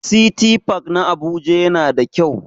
City park na Abuja yana da kyau.